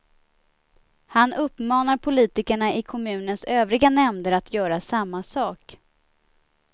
Han uppmanar politikerna i kommunens övriga nämnder att göra samma sak.